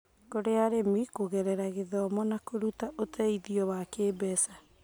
kũrĩ arĩmi kũgerera gĩthomo na kũruta ũteithio wa kĩmbeca.